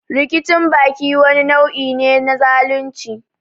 Rikicin baki wani nau'i ne na zalunci.